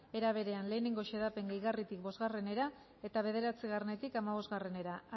era berean bat xedapen gehigarritik bostera eta bederatzietik hamabostera